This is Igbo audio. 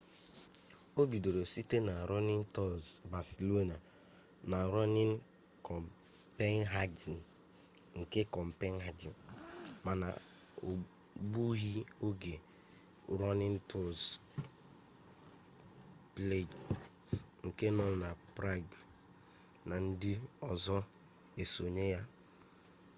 o bidoro site na running tours barcelona na running copenhagen nke copenhagen mana o gbughi oge running tours prague nke nọ na prague na ndị ọzọ esonye ya